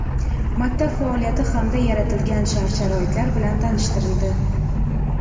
maktab faoliyati hamda yaratilgan shart-sharoitlar bilan tanishtirildi.